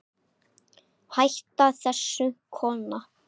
Hættu þessu kona!